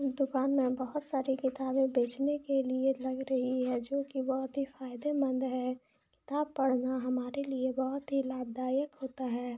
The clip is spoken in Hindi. ये दुकान में बहुत सारे किताबे बेचने की लिए लग रही है जो की बहुत ही फायदेमंद है किताब पढना हमारे लिए बहुत ही लाभदायक है।